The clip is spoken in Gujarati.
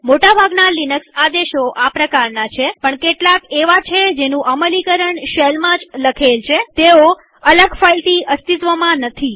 મોટા ભાગના લિનક્સ આદેશો આ પ્રકારના છેપણ કેટલાક એવા છે જેનું અમલીકરણ શેલમાં જ લખેલ છેતેઓ અલગ ફાઈલથી અસ્તિત્વમાં નથી